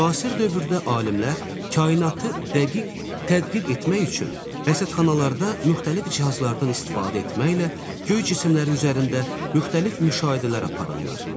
Müasir dövrdə alimlər kainatı dəqiq tədqiq etmək üçün rəsədxanalarda müxtəlif cihazlardan istifadə etməklə göy cisimləri üzərində müxtəlif müşahidələr aparırlar.